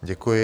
Děkuji.